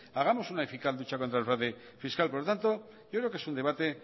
hagamos una eficaz lucha contra el fraude fiscal por lo tanto yo creo que es un debate